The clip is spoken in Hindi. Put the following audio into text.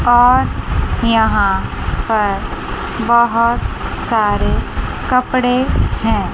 और यहां पर बहोत सारे कपड़े हैं।